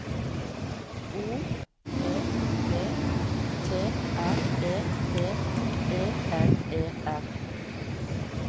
O P P T R E D E N E R